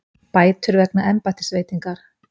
Bætur vegna embættisveitingar